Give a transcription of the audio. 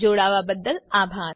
જોડાવા બદ્દલ આભાર